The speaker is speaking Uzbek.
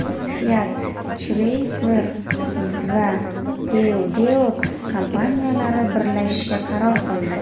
Fiat Chrysler va Peugeot kompaniyalari birlashishga qaror qildi.